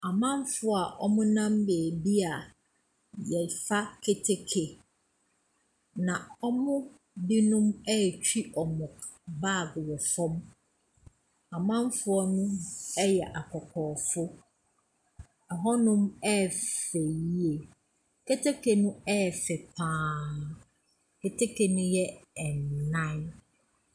Amanfoɔ wɔmmɔ nam bebia yɛfa keteke, na ɔmo binom atwi wɔnmo bag wɔ fɔm, amanfoɔ no yɛ akɔkɔɔfoɔ, ɛhɔnom ɛfɛ yie, keteke no ɛfɛ paa, keteke no ɛyɛ anan.